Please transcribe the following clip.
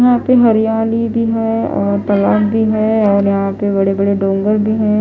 यहाँ पे हरियाली भी हैऔर तालाब भी है और यहां पे बड़े-बड़े डोंगर भी है।